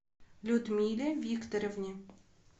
людмиле викторовне